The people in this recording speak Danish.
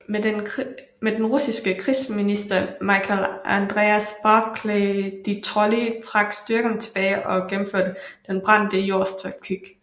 Men den russiske krigsminister Michael Andreas Barclay de Tolly trak styrkerne tilbage og gennemførte Den brændte jords taktik